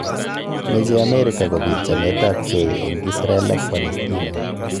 Meche Amerika kobiit chamet ab gei eng Israel ak Palestina